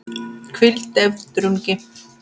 hvíld, deyfð, drungi